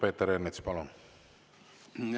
Peeter Ernits, palun!